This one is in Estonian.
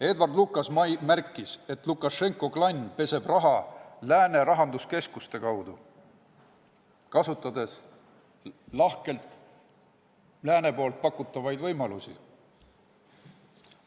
Edward Lucas märkis, et Lukašenka klann peseb raha lääne rahanduskeskuste kaudu, kasutades lahkelt lääne pakutavaid võimalusi.